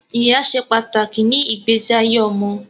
Ìyá ṣe pàtàkì ni igbese ayé ọmọ